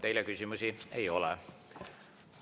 Teile küsimusi ei ole.